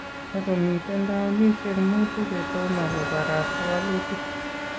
Takomiten towunishek muutu chetomo kobarasta walutik